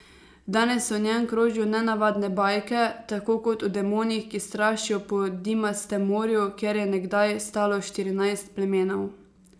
Danes o njem krožijo nenavadne bajke, tako kot o demonih, ki strašijo po Dimastem morju, kjer je nekdaj stalo Štirinajst plamenov.